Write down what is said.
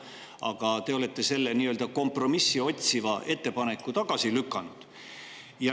Aga te olete selle nii-öelda kompromissi otsiva ettepaneku tagasi lükanud.